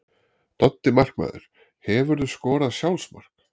Doddi markmaður Hefurðu skorað sjálfsmark?